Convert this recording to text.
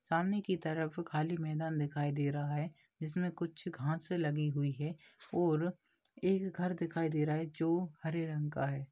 सामने की तरफ खाली मैदान दिखाई दे रहा है जिसमें कुछ घास लगी हुई है और एक घर दिखाई दे रहा है जो हरे रंग का है।